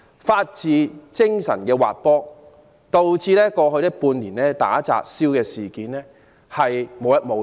法治精神的滑坡，導致過去半年打砸燒事件無日無之。